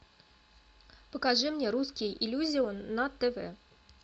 покажи мне русский иллюзион на тв